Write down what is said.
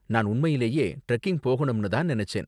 நான் உண்மையிலேயே டிரெக்கிங் போகணும்னு தான் நினைச்சேன்.